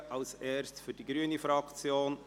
Zuerst Grossrätin Graf für die grüne Fraktion.